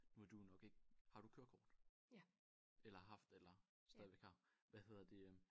Nu er du jo nok ikke har du kørekort? Eller har haft eller stadigvæk har hvad hedder det øh